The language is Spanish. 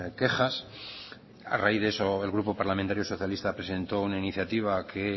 quejas a raíz de eso el grupo parlamentario socialista presentó una iniciativa que